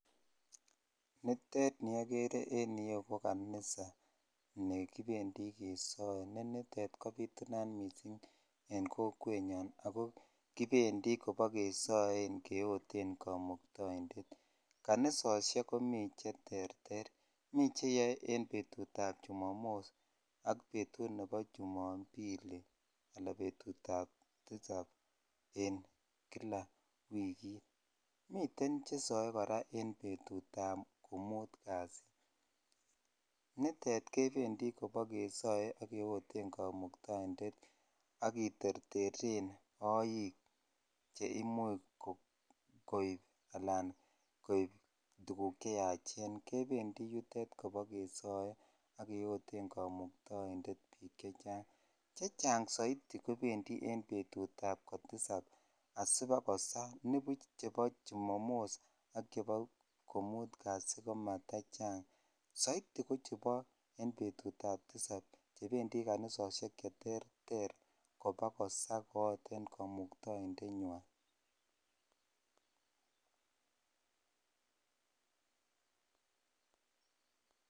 niteet niogere en ireyuu ko kanisa negibendii kesoe, niteet kobitunaat mising en kowet nyoon ago kipendi kebogesoen keoteen kamuktoindeet, kanisosyeek komii cheterter mi cheyoee en betuut ab chumamos ak mii che yoe en betut ab chumambili alan betut ab tisab en kila wigiit, miten chesoen koraa en betuut ab komuut kasii niteet kependii bogesoee ak keoteen kamuktoindeet ak kitertereen ooik cheimuuch koib alan koib tuguk cheyachen kebendii yuteet kebogesooen ak keyoteen kamuktoindeet piik chechang, chechang soiti kebendii en betut ab kotisaab asibakosaa nibuuch chebo chumamos ak chebo komuut kasii komaat tachang soiti kochebo betuut ab tisab chebendii kanisosyeek cheterter kobogosa koote kamuktoindet nywaan {pause]